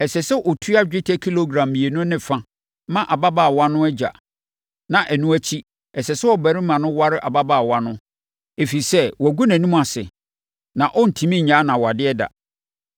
ɛsɛ sɛ ɔtua dwetɛ kilogram mmienu ne fa ma ababaawa no agya. Na ɛno akyi, ɛsɛ sɛ ɔbarima no ware ababaawa no, ɛfiri sɛ, wagu nʼanim ase na ɔrentumi nnyae no awadeɛ da.